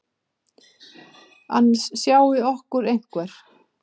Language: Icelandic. Annars sjái okkur einhver.